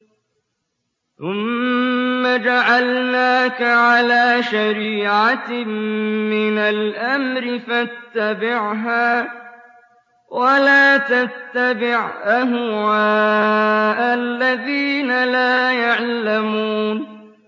ثُمَّ جَعَلْنَاكَ عَلَىٰ شَرِيعَةٍ مِّنَ الْأَمْرِ فَاتَّبِعْهَا وَلَا تَتَّبِعْ أَهْوَاءَ الَّذِينَ لَا يَعْلَمُونَ